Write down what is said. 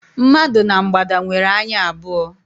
Mmadụ na mgbada nwere anya abụọ.